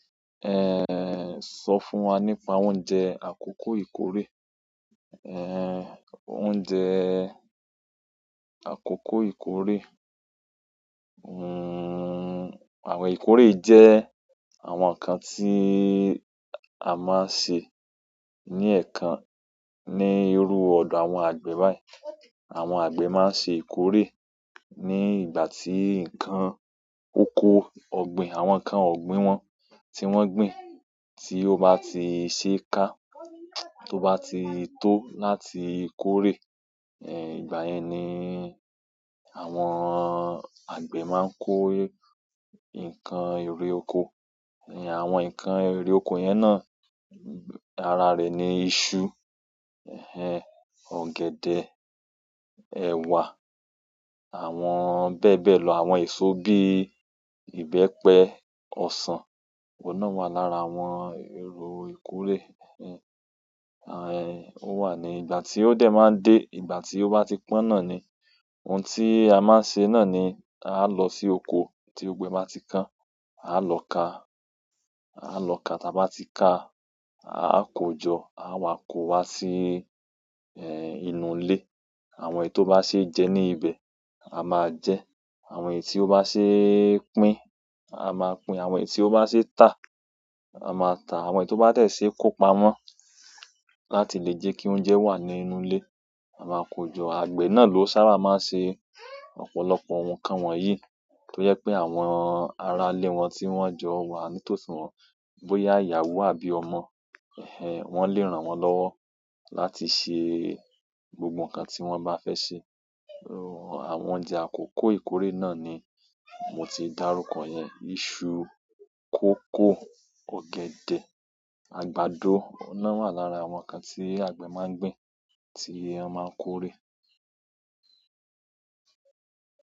Sọ fún wa nípa oúnjẹ àkókò ìkórè. Eh, oúnjẹ àkókò ìkórè, àwọn ìkórè jẹ́ àwọn nǹkan tí a máa ń ṣe ní ẹ̀ẹ̀kan ní irú ọ̀dọ̀ àwọn àgbẹ̀ báyìí. Àwọn àgbẹ̀ máa ń ṣe ìkórè ní ìgbà tí ǹkan oko ọ̀gbìn, àwọn ǹkan ọ̀gbìn wọn tí wọ́n gbìn tí ó bá ti ṣee ká, tó bá ti tó láti kórè, ìgbà yẹn ni àwọn àgbẹ̀ máa ń kó ǹkan ère oko. Ni àwọn ǹkan ère oko yẹn náà, ara rẹ̀ ni iṣu, ọ̀gẹ̀dẹ̀, ẹ̀wà, àwọn bẹ́ẹ̀ bẹ́ẹ̀ lọ. Àwọn èso bí i ìbẹ́pẹ, ọsàn, oun náà wà lára àwọn èrò ìkórè. Ó wà ní ìgbà tí ó dẹ̀ máa dé, ìgbà tí ó bá ti pọ́n náà ni, ohun tí a máa ń ṣe náà ni a lọ sí oko tí gbogbo e bá ti pon, a lọ ká, a lọ ká tá bá ti ká, a kójọ, a wà kó wá sí, inú ilé. Àwọn èyí tó bá ṣe jẹ ní ibẹ̀, a máa jẹ, àwọn èyí tí ó bá ṣe pín, a máa pín, àwọn èyí tí ó bá ṣe tà, a máa tà, àwọn èyí tó bá tẹ̀ ṣe kó pamọ́ láti lè jẹ́ kí oúnjẹ wà ní inú ilé, a máa kójọ. Àgbẹ̀ náà ló sábà máa ń ṣe ọ̀pọ̀lọpọ̀ ohun kan wọ̀nyí tó jẹ pé àwọn ará ilé wọn tí wọ́n jọ wà ní tòsí wọn, bóyá ìyàwó àbí ọmọ, wọ́n lè ràn wọ́n lọ́wọ́ láti ṣe gbogbo ǹkan tí wọ́n bá fẹ́ ṣe. Àwọn oúnjẹ àkókò ìkórè náà ni mo ti dárúkọ yẹn, iṣu, kókò, ọ̀gẹ̀dẹ̀, àgbàdo, oun náà wà lára àwọn ǹkan tí àgbẹ̀ máa ń gbìn tí won máa ń kórè.